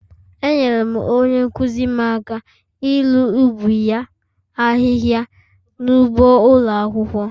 Enyere m onye nkụzi m aka iru ubi ya ahịhịa n'ụgbọ ụlọ akwụkwọ.